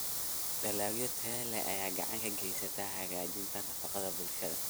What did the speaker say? Dalagyo tayo leh ayaa gacan ka geysta hagaajinta nafaqada bulshada.